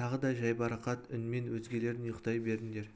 тағы да жайбарақат үнмен өзгелерің ұйықтай беріңдер